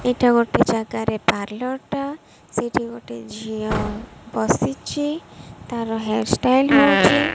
ଏଇଟା ଗୋଟିଏ ଜାଗାରେ ପାର୍ଲର ଟା ସେଇଠି ଗୋଟେ ଝିଅ ବସିଚି। ତାର ହେୟାର ଷ୍ଟାଇଲ ହଉଛି।